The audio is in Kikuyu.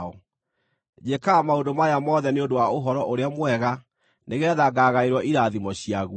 Njĩkaga maũndũ maya mothe nĩ ũndũ wa Ũhoro-ũrĩa-Mwega, nĩgeetha ngaagaĩrwo irathimo ciaguo.